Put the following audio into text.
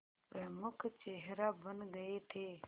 प्रमुख चेहरा बन गए थे